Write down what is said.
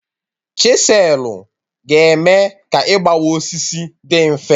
Chiselụ ga eme ka igbawa osisi dị mfe